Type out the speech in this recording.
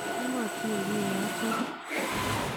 Kimotinye kiy nechope.